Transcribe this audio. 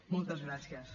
moltes gràcies